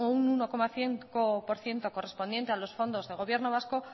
un uno coma cinco por ciento correspondiente a los fondos de gobierno vasco